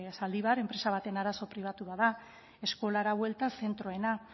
zaldibar enpresa baten arazo pribatu bat da eskolara buelta zentroena